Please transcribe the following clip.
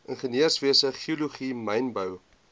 ingenieurswese geologie mynbou